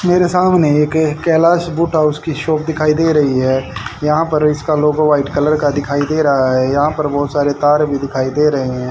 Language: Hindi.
मेरे सामने एक कैलाश बूटा उसकी शॉप दिखाई दे रही है यहां पर इसका लोगो व्हाइट कलर का दिखाई दे रहा है यहां पर बहोत सारे तार भी दिखाई दे रहे है।